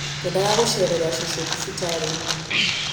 Ngwendaga gũceerera cũcũ thibitarĩ-inĩ